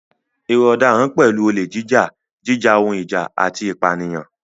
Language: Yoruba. Ìwà ọ̀daràn pẹ̀lú olè jíjà, jíjà ohun ìjà, àti ìpànìyàn.